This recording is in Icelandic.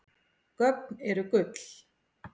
Gögn eru gull